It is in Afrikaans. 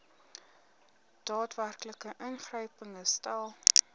daadwerklike ingryping herstel